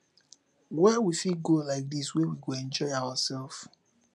where we fit go like this wey we go enjoy ourself